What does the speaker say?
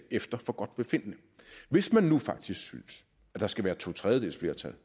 efter forgodtbefindende hvis man nu synes at der skal være to tredjedeles flertal